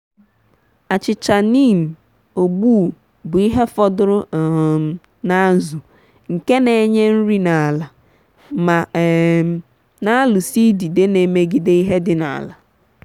achịcha neem(ogbu) bu ihe fọdụrụ um n’azụ nke na-enye nri n’ala ma um n’alụsa idide n’emegide ihe di n’ala.